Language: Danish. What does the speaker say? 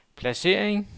placering